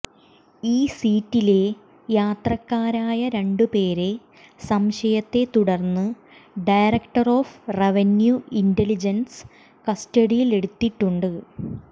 ഈ സീറ്റിലെ യാത്രക്കാരായ രണ്ടുപേരെ സംശയത്തെ തുടർന്ന് ഡയറക്ടർ ഓഫ് റവന്യു ഇന്റലിജൻസ് കസ്റ്റഡിയിലെടുത്തിട്ടുണ്ട്